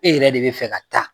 E yɛrɛ de bɛ fɛ ka taa